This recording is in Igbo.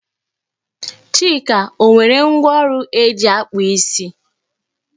Chika o nwere ngwá ọrụ eji akpụ isi?